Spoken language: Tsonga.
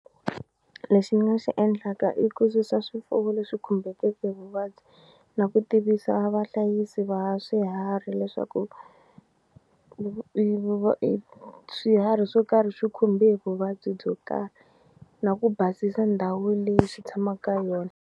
Lexi ni nga xi endlaka i ku susa swifuwo leswi khumbekeke hi vuvabyi na ku tivisa vahlayisi va swiharhi leswaku swiharhi swo karhi swi khumbe hi vuvabyi byo karhi na ku basisa ndhawu leyi xi tshama ka yona.